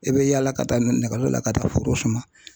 I bɛ yaala ka taa nɛgɛyo la ka taa foro suma.